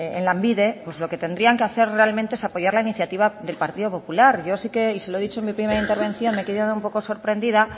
en lanbide pues lo que tendrían que hacer realmente es apoyar la iniciativa del partido popular yo sí que y se lo he dicho en mi primera intervención me he quedado un poco sorprendida